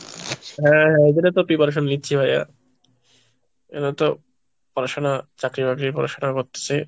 হ্যাঁ এদেরও তো preparation নিচ্ছি ভাইয়া এবার তো পড়াশোনা চাকরি বাকরির পড়াশোনা করতেছি।